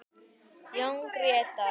Jón Grétar.